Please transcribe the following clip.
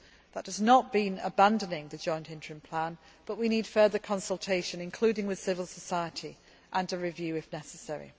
That does not mean abandoning the joint interim plan, but we need further consultation, including with civil society, and a review if necessary.